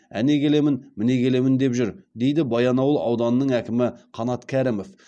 әне келемін міне келемін деп жүр дейді баянауыл ауданының әкімі қанат кәрімов